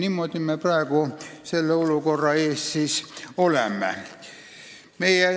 Niimoodi me praegu selle olukorra ees olemegi.